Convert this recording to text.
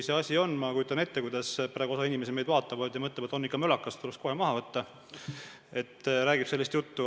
Ma kujutan ette, kuidas praegu osa inimesi meid vaadates mõtleb: on ikka mölakas, tuleks kohe maha võtta, räägib sellist juttu.